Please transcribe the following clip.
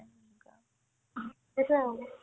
সেটোয়ে আৰু মানে